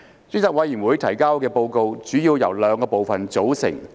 專責委員會提交的報告主要由兩個部分組成。